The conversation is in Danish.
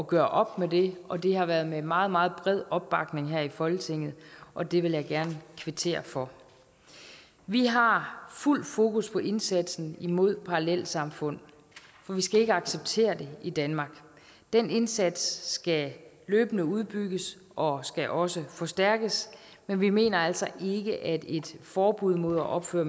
gøre op med det og det har været med meget meget bred opbakning her i folketinget og det vil jeg gerne kvittere for vi har fuld fokus på indsatsen imod parallelsamfund og vi skal ikke acceptere det i danmark den indsats skal løbende udbygges og skal også forstærkes men vi mener altså ikke at et forbud mod at opføre